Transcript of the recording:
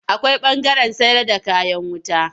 Akwai ɓangaren sayarda kayan wuta.